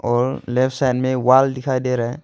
और left side में wall दिखाई दे रहा है।